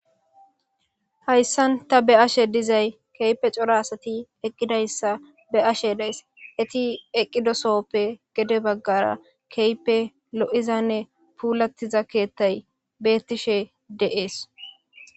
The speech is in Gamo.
Hayssan ta be7ashe dizay kehippe cora asati eqqidayssa be7ashe days eti eqqido sohoppe gede baggara keehippe lo7izanne puulattiza keettay beettishe de7ees.